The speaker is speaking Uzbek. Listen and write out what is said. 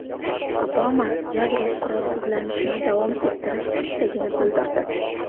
Obama yadro qurolsizlanishini davom ettirish istagini bildirdi.